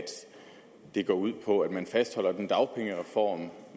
det går ud på at man fastholder den dagpengereform og at